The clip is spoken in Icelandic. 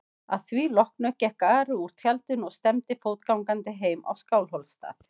Að því loknu gekk Ari úr tjaldinu og stefndi fótgangandi heim á Skálholtsstað.